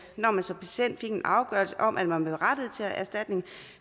når man som patient fik en afgørelse om at man var berettiget til erstatning